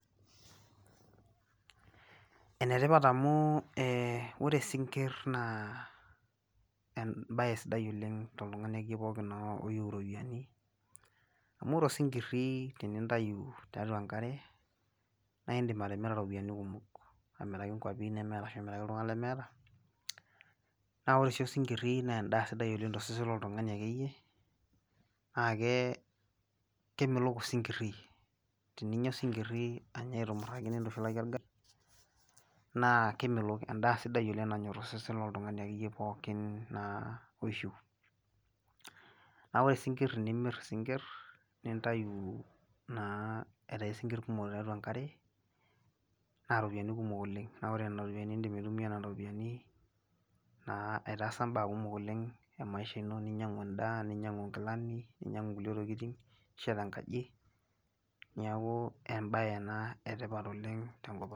Enetipat amu eeh ore sinkirr naa embaye sidai oleng' toltung'ani akeiye pooki naa oyou iropiani. Amu ore osinkirri tenintayu tiatua enkare naindim atimira ropiani kumok , amiraki nkuapi ashu nimiraki iltung'ana lemeeta. Naa ore sii osinkirri neendaa sidai oleng' tosesen loltung'ani akeiye naakee kemelok osinkirri, tininya osinkirri anya aitumurraki nintushulaki orgali naa kemelok, endaa sidai oleng' nanyorr osesen loltung'ani akeiye pookin naa oishu. Naa ore sinkirr enimirr sinkirr nintayu naa aitai sinkirr kumok tiatua enkare naaropiani kumok oleng' naa ore nena ropiani indim aitumia nena ropianii naa aitaasa mbaa kumok oleng' emaisha ino ninyang'u endaa, ninyang'u nkilani ninyang'u nkulie tokitin, nishet enkaji, niakuu embaye ena etipat oleng' tenkopang'.